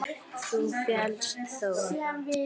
Þú féllst þó?